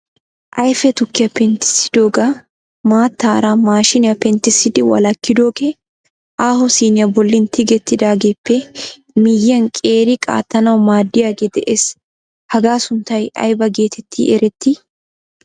ayfe tukkiya penttissidooga maattaara maashiniyaa penttissidi walakkidoogee aaho siniyaa bolli tigetidaageeppe miyyiaan qeeri qaattanaw maaddiyage de'ees. hagaa sunttay aybba getetti eretti?